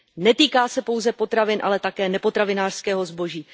Netýká se pouze potravin, ale také nepotravinářského zboží.